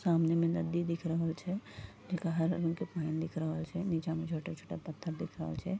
सामने में नदी दिख रहल छै जेकरा हरा रंग के पानी दिख रहल छै नीचा में छोटा-छोटा पत्थर दिख रहल छै।